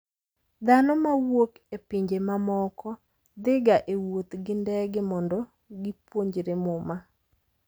Dhano mawuok e pinje mamoko dhiga e wuoth gi ndege mondo gipuonjre Muma.